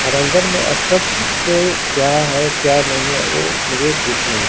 और अंदर में स्पष्ट रूप से क्या है क्या नहीं है ओ मुझे दिख नहीं--